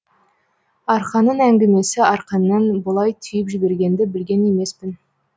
арқаның әңгімесі арқаңнан бұлай түйіп жібергенді білген емеспін